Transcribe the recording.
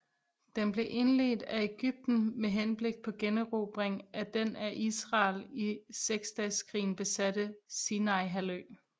Den blev indledt af Ægypten med henblik på generobring af den af Israel i Seksdageskrigen besatte Sinaihalvø